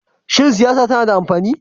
Shin siyasa tana da amfani?